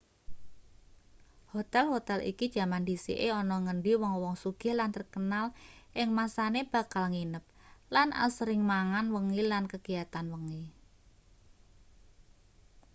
hotel-hotel iki jaman dhisike ana ngendi wong-wong sugih lan terkenal ing masane bakal nginep lan asring mangan wengi lan kegiatan wengi